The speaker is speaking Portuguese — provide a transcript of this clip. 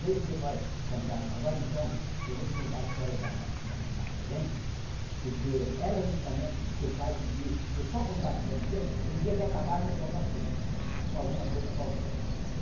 Veio e falou, fantasma, agora então eu vou te contar a história da da da corrente, porque ela justamente, o teu pai, pediu que eu só contasse para você o dia que acabasse a sua paciência com alguma coisa qualquer.